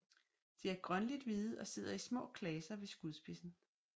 De er grønligt hvide og sidder i små klaser ved skudspidsen